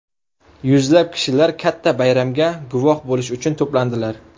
Yuzlab kishilar katta bayramga guvoh bo‘lish uchun to‘plandilar.